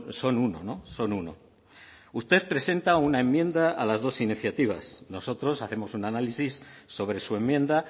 son uno son uno usted presenta una enmienda a las dos iniciativas nosotros hacemos un análisis sobre su enmienda